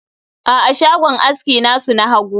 a'a, shagon aski nasu na hagu